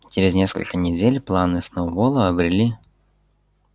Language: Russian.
через несколько недель планы сноуболла обрели